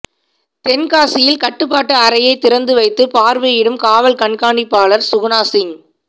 தென்காசியில் கட்டுப்பாட்டு அறையை திறந்தவைத்துப் பாா்வையிடும் காவல் கண்காணிப்பாளா் சுகுணா சிங்